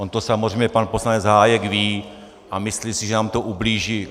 On to samozřejmě pan poslanec Hájek ví a myslí si, že nám to ublíží.